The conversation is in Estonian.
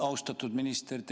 Austatud minister!